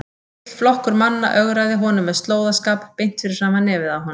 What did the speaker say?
Heill flokkur manna ögraði honum með slóðaskap beint fyrir framan nefið á honum!